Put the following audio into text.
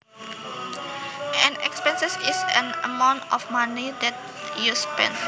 An expense is an amount of money that you spend